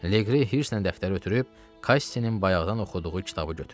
Leqri hirs-lə dəftəri ötürüb Kassinin bayaqdan oxuduğu kitabı götürdü.